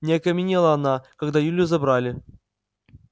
не окаменела она когда илью забрали